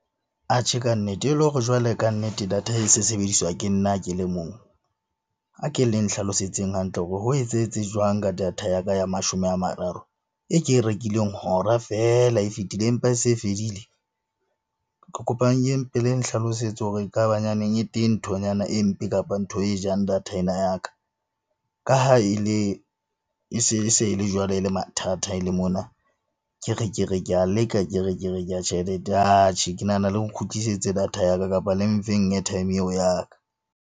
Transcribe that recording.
Kannete e le hore jwale kannete data e se sebediswa ke nna ke le mong, a ke le nhlalosetseng hantle hore ho etsahetse jwang ka data ya ka ya mashome a mararo, e ke e rekileng hora feela e fetile empa e se e fedile? Ke kopang le mpe le nhlalosetse hore ekaba nyaneng e teng nthonyana e mpe kapa ntho e jang data ena ya ka. Ka ha e le e se e le jwalo, e le mathata e le mona ke re ke re ke a leka, ke re ke re ke ya ke nahana le nkgutlisetsa data ya ka kapa le mfeng airtime eo ya ka.